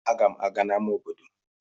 Aga m aga n'amá obodo.